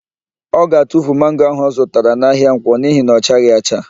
Ọ ga-atufu mango ahụ ọ zụtara n'ahịa Nkwọ n'ihi na ọ chaghị acha.